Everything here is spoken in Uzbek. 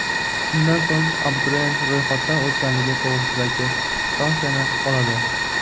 Shundan so‘ng, abituriyent ro‘yxatdan o‘tganligi to‘g‘risida kvitansiyani oladi.